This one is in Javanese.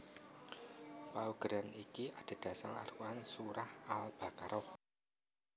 Paugeran iki adhedhasar Al Quran Surah Al Baqarah